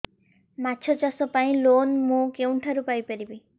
ମାଛ ଚାଷ ପାଇଁ ଲୋନ୍ ମୁଁ କେଉଁଠାରୁ ପାଇପାରିବି